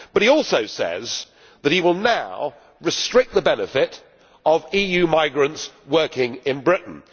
But he also says that he will now restrict the benefits of EU migrants working in Britain.